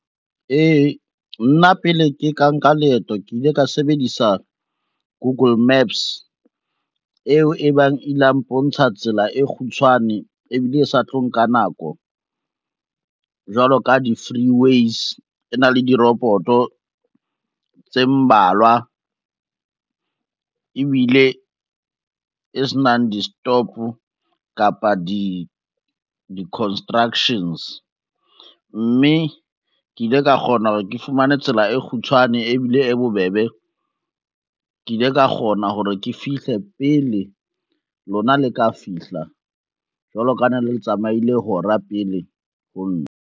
Ee, nna pele ke ka nka leeto ke ile ka sebedisa Google Maps, eo e bang ile ya mpontsha tsela e kgutshwane ebile e sa tlo nka nako jwalo ka di-freeways, e na le di-robot-o tse mmalwa ebile e senang di-stop kapa di-constructions, mme ke ile ka kgona hore ke fumane tsela e kgutshwane ebile e bobebe. Ke ile ka kgona hore ke fihle pele lona le ka fihla jwalo ka ne le tsamaile hora pele ho nna.